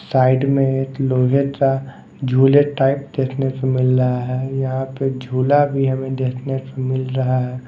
Side में एक लोहे का झूले टाइप देखने को मिल रहा हैं यहाँ पे झूला भी हमें देखने को मिल रहा हैं।